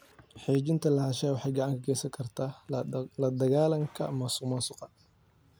Xaqiijinta lahaanshaha waxay gacan ka geysan kartaa la dagaallanka musuqmaasuqa.